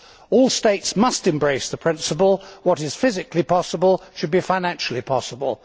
All states must embrace the principle that what is physically possible should be financially possible.